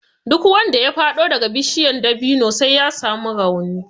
Duk wanda ya faɗo daga bishiya dabino sai ya samu rauni